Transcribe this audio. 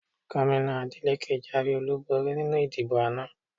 Gómìnà Adeleke jáwé olúborí nínú ìdìbò àná